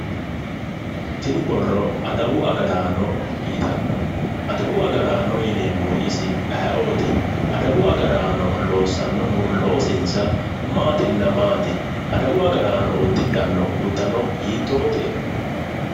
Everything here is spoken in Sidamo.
tini borro adawu agaraano yitanno adawu agaraano yineemmori isi ayeeooti? adawu agaraanno loossannohu loosinsa maatinna maati? adawu agaraano uddidhanno uddano hiittoote?